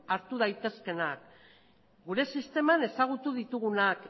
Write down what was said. hartu daitezkeenak gure sisteman ezagutu ditugunak